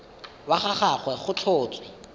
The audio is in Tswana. wa ga gagwe go tlhotswe